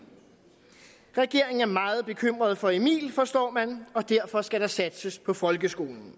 regeringen er meget bekymret for emil forstår man og derfor skal der satses på folkeskolen